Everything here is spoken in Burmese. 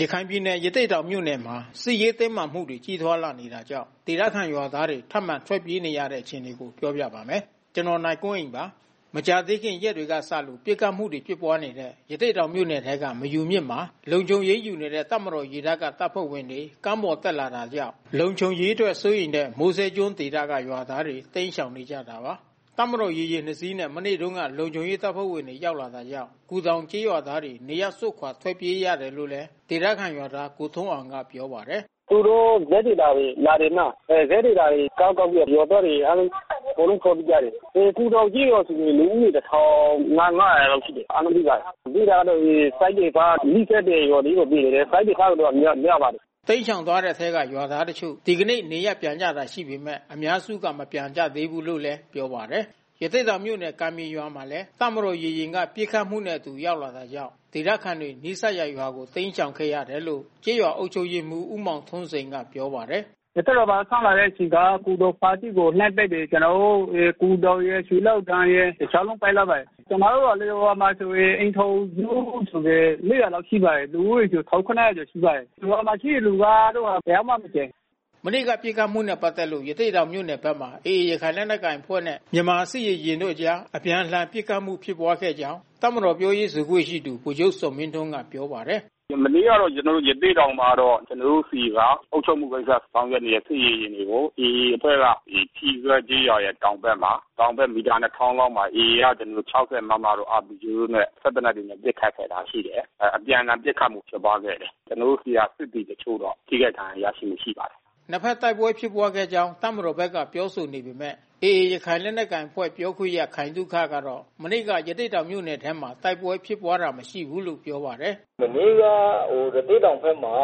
ရခိုင်ပြည်နယ် ရသေ့တောင်မြို့နယ်မှာ စစ်ရေးတင်းမာမှုတွေ ကြီးထွားလာနေတာကြောင့် ဒေသခံရွာသားတွေ ထပ်မံထွက်ပြေးနေရပါတယ်။ အပြည့်အစုံကို နိုင်အွန်းအိန်က ဆက်သွယ်မေးမြန်းပြီး တင်ပြပေးထားပါတယ်။ မကြာသေးခင် ရက်တွေကစလို့ ပစ်ခတ်မှုတွေ ဖြစ်ပွားနေတဲ့ ရသေ့တောင်မြို့နယ်ထဲက မယူမြစ်မှာ လုံခြုံရေးယူနေတဲ့ တပ်မတော် ရေတပ်က တပ်ဖွဲ့ဝင်တွေ ကမ်းပေါ်တက်လာတာကြောင့် လုံခြုံရေးအတွက် စိုးရိမ်တဲ့ မိုးစဲကျွန်းဒေသက ရွာသားတွေ တိမ်းရှောင်နေကြတာပါ။ တပ်မတော်ရေယာဉ် ၂ စီးနဲ့ မနေ့တုန်းက လုံခြုံရေးတပ်ဖွဲ့တွေ ရောက်လာတာကြောင့် ကူတောင်ကျေးရွာသားတွေ နေရပ်စွန့် ထွက်ပြေးခဲ့ရတယ်လို့လည်း ဒေသခံရွာသား ကိုထွန်းအောင်က ပြောပါတယ်။ “သူတို့ ဇက်တွေဘာတွေ လာတယ်မလား။ အဲ ဇက်တွေဘာတွေ ကမ်းတက်ပြီးတော့ ရွာသားတွေအားလုံး အကုန်လုံး ထွက်ပြေးကြတယ်။ အဲကူတောင်ကျေးရွာက လူဦးရေအကုန်လုံး ၁,၅၀၀ လောက်ရှိတယ်။ အားလုံးပြေးကြတယ်။ ပြေးတာကလည်း စစ်တွေသွား နီးစပ်တဲ့ရွာလေးတွေ ပြေးနေတယ်။ စစ်တွေသွားတဲ့သူပဲ များပါတယ်။” တိမ်းရှောင်သွားတဲ့အထဲက ရွာသားတချို့ ဒီကနေ့ နေရပ်ပြန်ကြတာရှိပေမယ့် အများစုက မပြန်ကြသေးဘူးလို့လည်း ပြောပါတယ်။ ရသေ့တောင်မြို့နယ် ကန်ပြင်ရွာမှာလည်း တပ်မတော်ရေယာဉ်က ပစ်ခတ်မှုတွေနဲ့အတူ ရောက်လာတာကြောင့် ဒေသခံတွေ နီးစပ်ရာရွာတွေကို တိမ်းရှောင်ခဲ့ရတယ်လို့ ကျေးရွာအုပ်ချုပ်ရေးမှူး ဦးမောင်ထွန်းစိန်က ပြောပါတယ်။ “ရသေ့တောင်မှာ စလာတဲ့အချိန်က ကူတောင်ဘက်ကို လှမ်းပစ်တယ်။ ကျနော်တို့ရယ် ကူတောင်ရယ် ရွှေလောင်းတင်ရယ်။ တချိန်လုံးပစ်လိုက်ပါတယ်။ ကျနော်တို့ရွာမှာဆိုရင် အိမ်ထောင်စု ၄၀၀ လောက်ရှိပါတယ်။ လူဦးရေဆို ၁,၇၀၀ ကျော်ရှိပါတယ်။ ရွာမှာရှိတဲ့လူကတော့ တယောက်မှမကျန်ဘူး။” မနေ့က ပစ်ခတ်မှုနဲ့ပတ်သက်လို့ ရသေ့တောင်မြို့နယ်ဘက်မှာ AA ရခိုင်လက်နက်ကိုင်အဖွဲ့နဲ့ မြန်မာစစ်ရေယာဉ်တို့အကြား အပြန်အလှန်ပစ်ခတ်မှု ဖြစ်ပွားခဲ့ကြောင်း တပ်မတော် ပြောရေးဆိုခွင့်ရှိသူ ဗိုလ်ချုပ်ဇော်မင်းထွန်းက ပြောပါတယ်။ “မနေ့ကတော့ ကျေနာ်တို့ ရသေ့တောင်မှာတော့ ကျနော်တို့ဆီက အုပ်ချုပ်မှုကိစ္စ ဆောင်ရွက်နေတဲ့ စစ်ရေယာဉ်တွေကို AA အဖွဲ့က ထီးစွဲကျေးရွာရဲ့တောင်ဘက် မီတာ ၂၀၀၀ လောက်မှာ AA က ၆၀ မမတို့ RPG တို့ စက်သေနတ်တွေနဲ့ ပစ်ခတ်ခဲ့တာရှိတယ်။ အပြန်အလှန်ပစ်ခတ်မှု ဖြစ်ပွားခဲ့တယ်။ ကျနော်တို့ဆီက စစ်သည်တချို့တော့ ထိခိုက်ဒဏ်ရာရရှိမှု ရှိပါတယ်။” နှစ်ဖက်တိုက်ပွဲဖြစ်ပွားခဲ့ကြောင်း တပ်မတော်ဘက်က ပြောဆိုနေပေမယ့် AA ရခိုင်လက်နက်ကိုင်အဖွဲ့ ပြောခွင့်ရ ခိုင်သုခကတော့ မနေ့က ရသေ့တောင်မြို့နယ်ဘက်မှာ တိုက်ပွဲဖြစ်ပွားတာ မရှိဘူးလို့ ပြောပါတယ်။ “မနေ့က ရသေ့တောင်ဘက်မှာ